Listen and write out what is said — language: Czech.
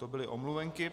To byly omluvenky.